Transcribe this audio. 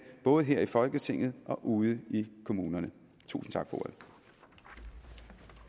både her i folketinget og ude i kommunerne tusind tak